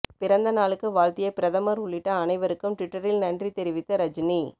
பிறந்த நாளுக்கு வாழ்த்திய பிரதமர் உள்ளிட்ட அனைவருக்கும் ட்விட்டரில் நன்றி தெரிவித்த ரஜினி